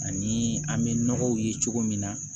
Ani an bɛ nɔgɔw ye cogo min na